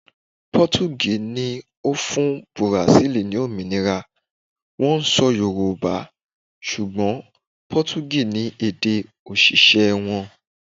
Potogí ni ó fún Bùràsílì ni òmìnira, wón ń sọ Yorùbá, ṣùgbọ́n Potogí ni èdè òṣìṣẹ́ wọn.